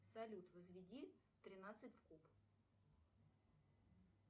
салют возведи тринадцать в куб